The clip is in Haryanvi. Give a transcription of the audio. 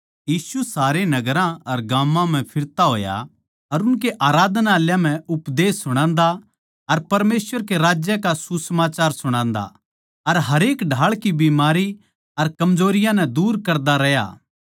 यीशु अर उसके सारे चेल्लें सारे नगरां अर गाम्मां म्ह फिरता होया अर उनकै आराधनालयाँ म्ह उपदेश सुणान्दा अर परमेसवर के राज्य का सुसमाचार सुणादा अर हरेक ढाळ की बीमारी अर कमजोरियाँ नै दूर करता रह्या